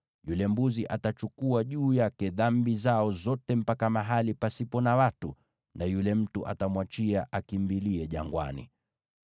Yule mbuzi atachukua juu yake dhambi zao zote mpaka mahali pasipo na watu; naye yule mtu atamwachia akimbilie jangwani.